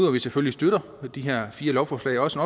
at vi selvfølgelig støtter de her fire lovforslag også